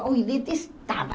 Eu detestava.